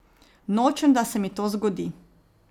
Nočem, da se mi to zgodi.